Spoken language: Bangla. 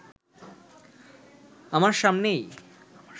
আমার সামনেই